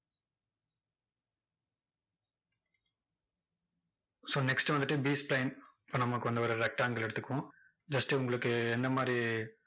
so next வந்துட்டு B spline இப்போ நமக்கு வந்து ஒரு rectangle எடுத்துக்குவோம் just உங்களுக்கு என்ன மாதிரி,